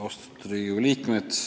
Austatud Riigikogu liikmed!